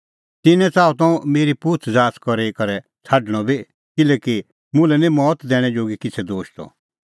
तिन्नैं च़ाहअ हुंह मेरी पुछ़ज़ाच़ करी करै छ़ाडणअ बी किल्हैकि मुल्है निं मौत दैणैं जोगी किछ़ै दोश त